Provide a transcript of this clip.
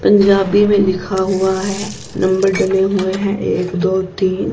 पंजाबी में लिखा हुआ है नंबर डले हुए हैं एक दो तीन--